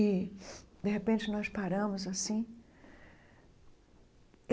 E, de repente, nós paramos assim.